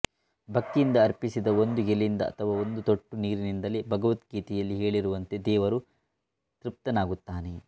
ಭಕ್ತಿಯಿಂದ ಅರ್ಪಿಸಿದ ಒಂದು ಎಲೆಯಿಂದ ಅಥವಾ ಒಂದು ತೊಟ್ಟು ನೀರಿನಿಂದಲೇ ಭಗವದ್ಗೀತೆಯಲ್ಲಿ ಹೇಳಿರುವಂತೆ ದೇವರು ತೃಪ್ತನಾಗುತ್ತಾನೆ